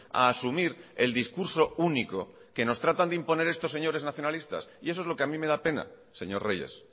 a asumir el discurso único que nos tratan de imponer estos señores nacionalistas y eso es lo que a mí me da pena señor reyes